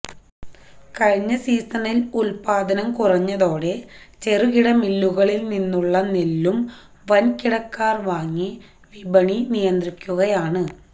കഴിഞ്ഞ സീസണിൽ ഉൽപാദനം കുറഞ്ഞതോടെ ചെറുകിട മില്ലുകളിൽനിന്നുള്ള നെല്ലും വൻകിടക്കാർ വാങ്ങി വിപണി നിയന്ത്രിക്കുകയാണ്